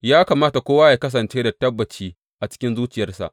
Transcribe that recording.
Ya kamata kowa yă kasance da tabbaci a cikin zuciyarsa.